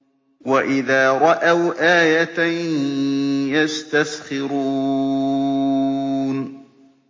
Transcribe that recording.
وَإِذَا رَأَوْا آيَةً يَسْتَسْخِرُونَ